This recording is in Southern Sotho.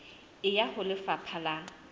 e ya ho lefapha la